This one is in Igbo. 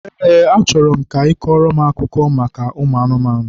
Eé, achọrọ m ka ị kọọrọ m akụkọ maka ụmụ anụmanụ.